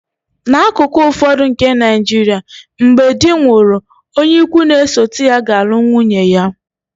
N’akụkụ ụfọdụ nke Nigeria, mgbe di nwụrụ, onye ikwu n'esote ya ga-alụ nwunye ya